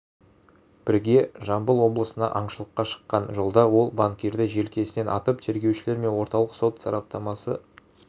бірге жамбыл облысына аңшылыққа шыққан жолда ол банкирді желкесінен атып тергеушілер мен орталық сот сараптамасы